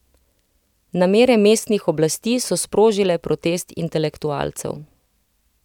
Namere mestnih oblasti so sprožile protest intelektualcev.